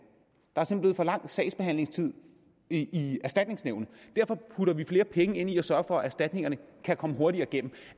er simpelt for lang sagsbehandlingstid i erstatningsnævnet derfor putter vi flere penge ind i at sørge for at erstatningerne kan komme hurtigere igennem